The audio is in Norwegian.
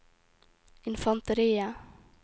infanteriet